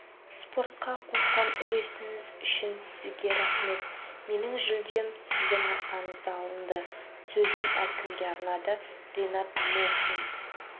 спортқа қосқан үлесіңіз үшін сізге рахмет менің жүлдем сіздің арқаңызда алынды сөзін әкімге арнады ринат мұхин